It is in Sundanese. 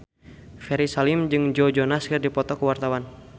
Ferry Salim jeung Joe Jonas keur dipoto ku wartawan